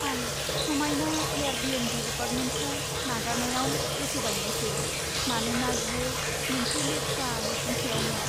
आं समायना एयारबीएनबी एपार्टमेन्टखौ नागारनायाव गोसो बायनायसै, मानोना बेयो मोनसे लेथ्रा नसुंसेआवमोन।